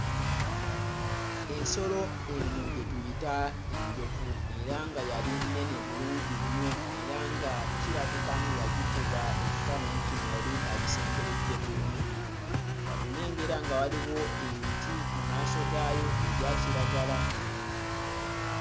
Ensolo eno gye tuyita enjovu era nga yali nnene bulungi nnyo era nga kirabika ng'eyagikuba ekifaananyi kino yali agisemberedde bulungi. Wano nnengera nga waliwo emiti mu maaso gaayo egya kiragala.